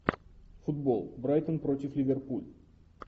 футбол брайтон против ливерпуль